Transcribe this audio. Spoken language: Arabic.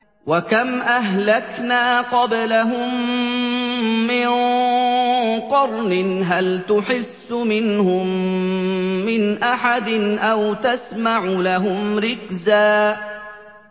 وَكَمْ أَهْلَكْنَا قَبْلَهُم مِّن قَرْنٍ هَلْ تُحِسُّ مِنْهُم مِّنْ أَحَدٍ أَوْ تَسْمَعُ لَهُمْ رِكْزًا